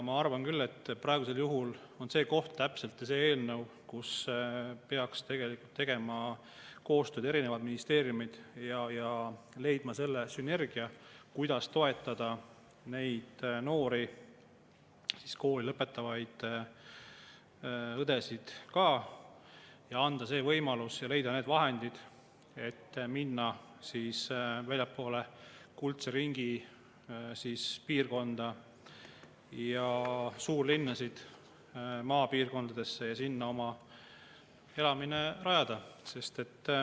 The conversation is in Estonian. Ma arvan, et praegu on täpselt see koht, kus selle eelnõu puhul peaks erinevad ministeeriumid tegema koostööd ja leidma sünergia, kuidas toetada neid noori, ka kooli lõpetavaid õdesid, anda see võimalus ja leida need vahendid, et minna väljapoole kuldse ringi piirkonda ja suurlinnasid, maapiirkondadesse ja sinna oma elamise rajada.